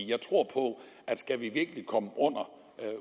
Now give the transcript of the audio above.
jeg tror på at skal vi virkelig komme under